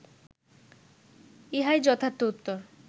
ইহাই যথার্থ উত্তর